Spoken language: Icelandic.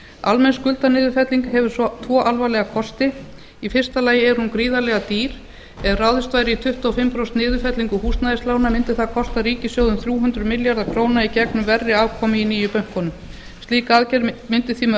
almenn skuldaniðurfelling hefur tvo alvarlega ókosti í fyrsta lagi er hún gríðarlega dýr ef ráðist væri í tuttugu og fimm prósent niðurfellingu húsnæðislána mundi það kosta ríkissjóð um þrjú hundruð milljarða króna í gegnum verri afkomu nýju bankanna slík aðgerð mundi því með